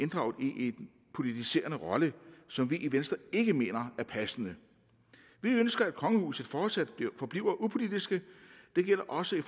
inddraget i en politiserende rolle som vi i venstre ikke mener er passende vi ønsker at kongehuset fortsat forbliver upolitisk det gælder også i